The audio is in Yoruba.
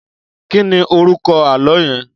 Kìní órúkò àlõ yèn?